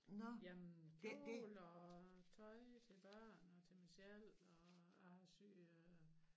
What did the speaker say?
Jamen kjole og tøj til børn og til mig selv og jeg har syet øh